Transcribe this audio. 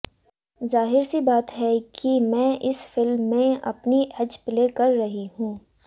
ज़ाहिर सी बात है कि मैं इस फिल्म में अपनी एज प्ले कर रही हूं